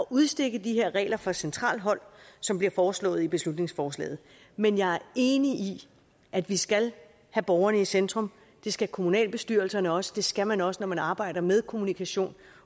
udstikke de her regler fra centralt hold som bliver foreslået i beslutningsforslaget men jeg er enig i at vi skal have borgerne i centrum det skal kommunalbestyrelserne også det skal man også når man arbejder med kommunikation